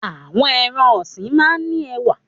Àwọn ẹran-ọ̀sìn máa ń ní ẹwà.